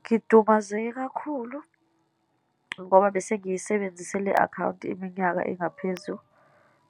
Ngidumazeke kakhulu ngoba bese ngiyisebenzise le akhawunti iminyaka engaphezu